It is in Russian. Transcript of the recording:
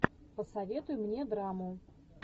посоветуй мне драму